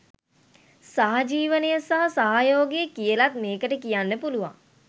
සහජීවනය සහ සහයෝගය කියලත් මේකට කියන්න පුළුවන්.